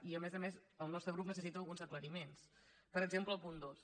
i a més a més el nostre grup necessita alguns aclariments per exemple al punt dos